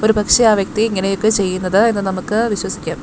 ഒരു പക്ഷേ ആ വ്യക്തി ഇങ്ങനൊക്കെ ചെയ്യുന്നത് എന്ന് നമുക്ക് വിശ്വസിക്കാം.